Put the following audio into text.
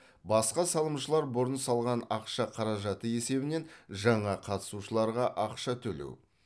басқа салымшылар бұрын салған ақша қаражаты есебінен жаңа қатысушыларға ақша төлеу